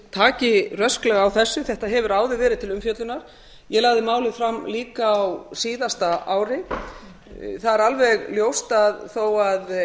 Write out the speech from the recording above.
taki rösklega á þessu þetta hefur áður verið til umfjöllunar ég lagði málið fram líka á síðasta ári það er alveg ljóst að þó að